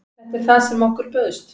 Þetta er það sem okkur bauðst